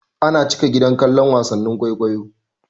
Ana cika gida kallon wasannin kwaikwayo.